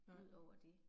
Nej